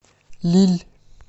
лилль